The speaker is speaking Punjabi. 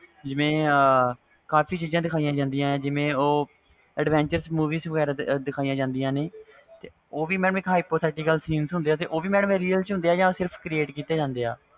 ਜਿਵੇ ਕਾਫੀ ਕੁਛ ਦਿਖਾਇਆ ਜਾਂਦਾ ਵ ਜਿਵੇ adventure movie ਦਿਖਾਇਆ ਜਾਂਦੀਆਂ ਨੇ ਉਹ ਵੀ ਇਕ hypothetical scenes ਹੁੰਦੇ ਉਹ real ਚ ਹੁੰਦੇ ਜਾ ਉਹ ਵੀ create ਕੀਤੇ ਜਾਂਦੇ